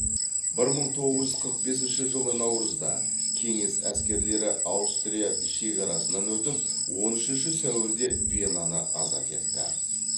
бір мың тоғыз жүз қрық бесінші жылы наурызда кеңес әскерлері аустрия шекарасынан өтіп он үшінші сәуірде венаны азат етті